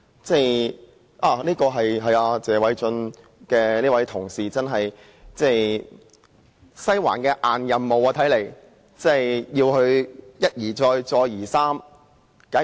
這似乎是"西環"派給謝偉俊議員的"硬任務"，要他一而再、再而三地如此。